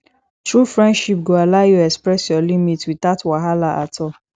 true friendship go allow you express your limits without wahala at all